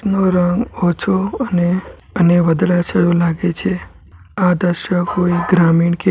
ઓછો અને અને વદરા જેવુ લાગે છે આ દ્રશ્ય કોઇ ગ્રામીણ કે --